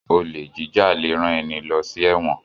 Olè jíjà lẹ rán ẹní ló sí èwòn